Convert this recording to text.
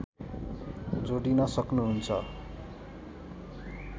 जोडिन सक्नुहुन्छ